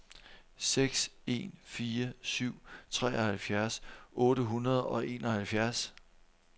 seks en fire syv treoghalvfjerds otte hundrede og enoghalvfjerds